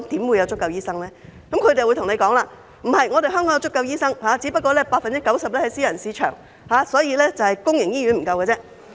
然而，他們又會告訴我，香港有足夠醫生，只不過 90% 在私人市場，所以只是公營醫院不夠醫生。